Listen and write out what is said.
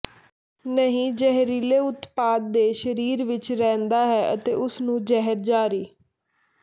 ਨਹੀ ਜ਼ਹਿਰੀਲੇ ਉਤਪਾਦ ਦੇ ਸਰੀਰ ਵਿੱਚ ਰਹਿੰਦਾ ਹੈ ਅਤੇ ਉਸ ਨੂੰ ਜ਼ਹਿਰ ਜਾਰੀ